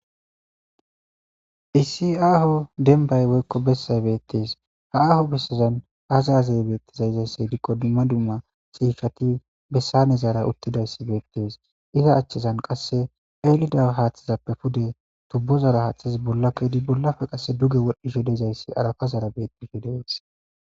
Issi aaho denbay woykko bessay beettees ha aho bessazan azazey beettizayizaysse hidikko dumma dumma siishati bessane zaara uttidayssi beettees iza achchizan qasse elida haathizappe pude tubbozara haaththiz bolla koydi bollafe qasse duge wodhdhi sho dezayssi arafa zara bettifi de'es